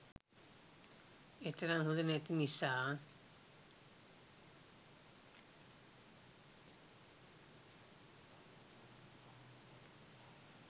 එතරම් හොඳ නැති නිසා